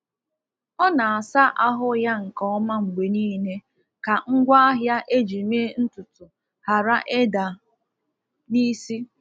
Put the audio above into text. Ọ na-asa ahụ ya nke ọma mgbe niile ka ngwaahịa eji mee ntutu ghara ịda n’isi.